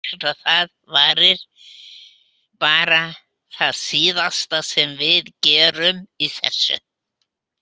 Það er líklegt að það verði bara það síðasta sem við gerðum í þessu.